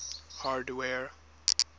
hardware